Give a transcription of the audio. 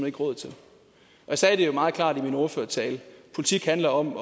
ikke råd til jeg sagde det jo meget klart i min ordførertale politik handler om